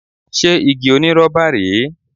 Ṣé igi onírọ́bà rèé?